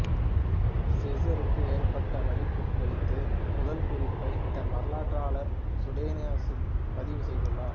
சீசருக்கு ஏற்பட்ட வலிப்பு குறித்த முதல் குறிப்பை தன்வரலாற்றாளர் சுடோனியசு பதிவு செய்துள்ளார்